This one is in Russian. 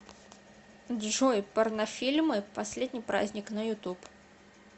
джой порнофильмы последний праздник на ютуб